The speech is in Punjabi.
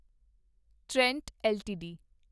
Trent LTD